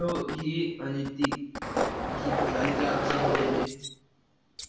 तव ई आणि ती शीतू झाली आता समजायची